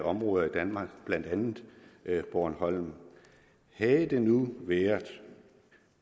områder i danmark blandt andet bornholm havde det nu være